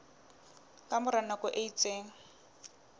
ka mora nako e itseng